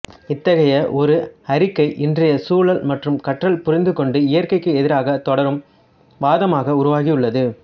இத்தகைய ஒரு அறிக்கை இன்றைய சூழல் மற்றும் கற்றல் புரிந்து கொண்டு இயற்கைக்கு எதிராக தொடரும் வாதமாக உருவாகியுள்ளது